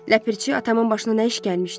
Ləpirçi, atamın başına nə iş gəlmişdi?